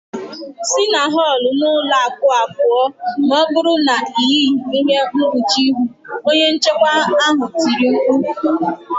Si na họl n'ụlọ akụ a pụọ, ma ọ bụrụ na ị yịghị ihe mkpuchi ihu" onye nchekwa ahụ tiri mkpu